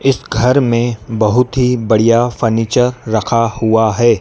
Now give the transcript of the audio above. इस घर मे बहुत ही बढ़िया फर्नीचर रखा हुआ है।